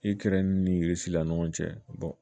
I kɛrɛ ni yirisila ni ɲɔgɔn cɛ